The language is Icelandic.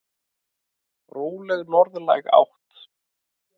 Róleg norðlæg átt